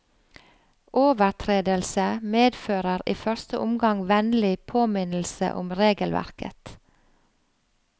Overtredelse medfører i første omgang vennlig påminnelse om regelverket.